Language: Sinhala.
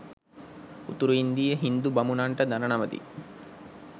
උතුරු ඉන්දීය හිංදු බමුණන්ට දණ නමති.